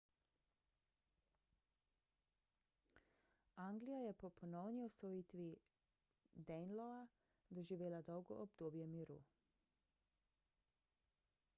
anglija je po ponovni osvojitvi danelawa doživela dolgo obdobje miru